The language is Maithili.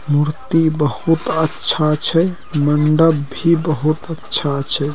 मूर्ति बहुत अच्छा छे। मंडप भी बहुत अच्छा छे।